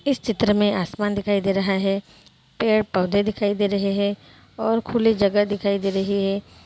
इस चित्र में आसमान दिखाई दे रहा है पेड़ पौधे दिखाई दे रहे हैं और खुले जगह दिखाई दे रही है ।